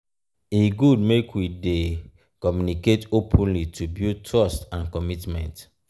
e good make we dey communicate openly to build trust and commitment.